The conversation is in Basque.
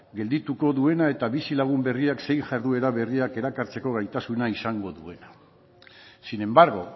geldituko duena eta bizilagun berriak zein jarduera berriak erakartzeko gaitasuna izango duena sin embargo